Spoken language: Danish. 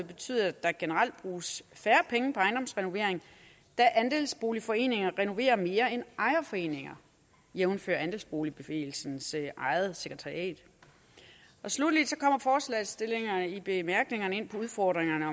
betyde at der generelt bruges færre penge på ejendomsrenovering da andelsboligforeninger renoverer mere end ejerforeninger jævnfør andelsboligbevægelsens eget sekretariat sluttelig kommer forslagsstillerne i bemærkningerne ind på udfordringerne